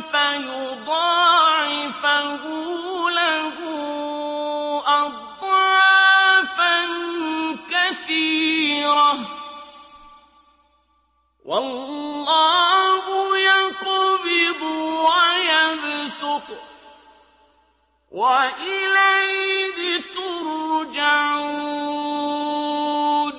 فَيُضَاعِفَهُ لَهُ أَضْعَافًا كَثِيرَةً ۚ وَاللَّهُ يَقْبِضُ وَيَبْسُطُ وَإِلَيْهِ تُرْجَعُونَ